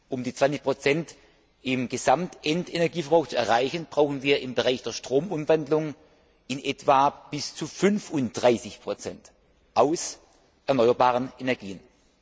Um die 20 im Gesamtendenergieverbrauch zu erreichen, brauchen wir im Bereich der Stromumwandlung in etwa bis zu 35 aus erneuerbaren Energien.